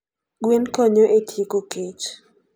Gwen konyo e tieko kech.